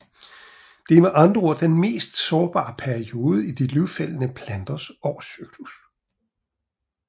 Det er med andre ord den mest sårbare periode i de løvfældende planters årscyklus